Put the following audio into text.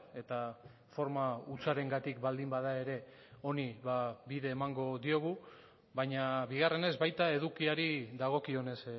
eta forma hutsarengatik baldin bada ere honi bide emango diogu baina bigarrenez baita edukiari dagokionez